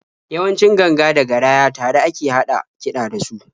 Yawanci ganga da garaya tare a ke haɗa kiɗa da su.